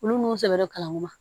Olu n'u sɛbɛra kalan ma